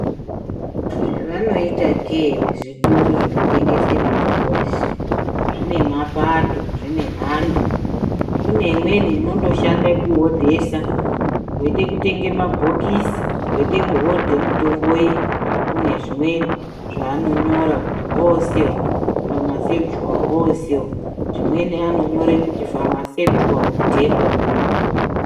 Zvevanoita ke here muzvitoro zvinotengesa mitombo izvi, zvine mapato, zvine mhando. Kune imweni inondoshande kuhodhesa, weide kutenge mabhokisi weide kuhodhe mitombo iyi, kune zvimweni zvaanonyora kuti Hoosel famasekichuwal Hoosel. Zvimweni vanonyore kuti famasekichuwal depo.